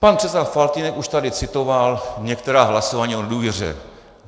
Pan předseda Faltýnek už tady citoval některá hlasování o důvěře.